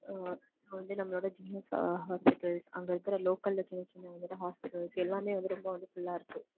ஆஹ் வந்து நமளோட GH hospitals அங்க இருக்க local ல சின்ன சின்ன hospitals எல்லாமே வந்து ரொம்ப வந்து full ஆயிருச்சு